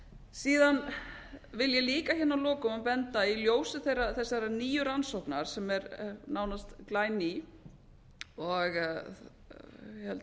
síðan vil ég líka að lokum í ljósi þessarar nýju rannsóknar sem er nánast glæný og ég held